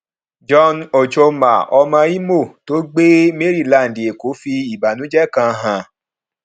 john ochonma ọmọ imo tó gbé cs] maryland èkó fi ìbànújẹ kan hàn